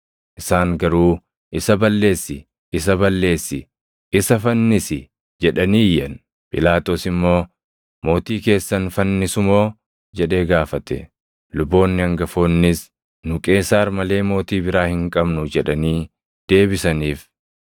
Isaan garuu, “Isa balleessi! Isa balleessi! Isa fannisi!” jedhanii iyyan. Phiilaaxoos immoo, “Mootii keessan fannisu moo?” jedhee gaafate. Luboonni hangafoonnis, “Nu Qeesaar malee mootii biraa hin qabnu” jedhanii deebisaniif.